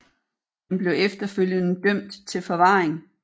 Han blev efterfølgede dømt til forvaring